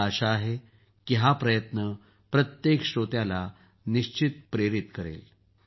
मला आशा आहे की हा प्रयत्न प्रत्येक श्रोत्याला प्रेरित निश्चित करेल